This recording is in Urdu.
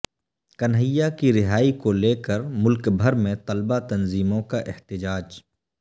کنہیا کی رہائی کو لے کر ملک بھر میں طلباء تنظیموں کا احتجاج